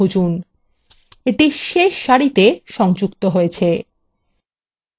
এটি শেষ সারিতে সংযুক্ত হয়েছে